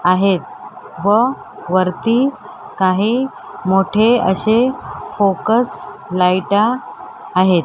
आहेत व वरती काही मोठे असे फोकस लायटा आहेत.